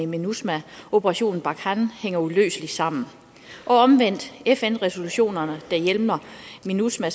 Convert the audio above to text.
minusma og operation barkhane hænger uløseligt sammen fn resolutionerne der hjemler minusma